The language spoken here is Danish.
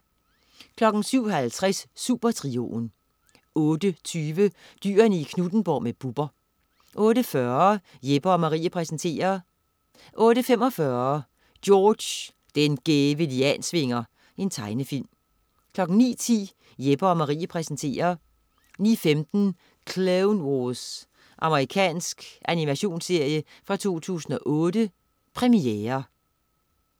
07.50 Supertrioen 08.20 Dyrene i Knuthenborg med Bubber 08.40 Jeppe & Marie præsenterer 08.45 George den gæve Liansvinger. Tegnefilm 09.10 Jeppe & Marie præsenterer 09.15 Clone Wars. Amerikansk animationsserie fra 2008. Premiere